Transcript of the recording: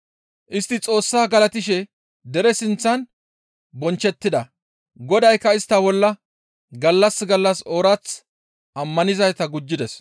Istti Xoossaa galatishe dere sinththan bonchchettida. Godaykka istta bolla gallas gallas oorath ammanizayta gujjides.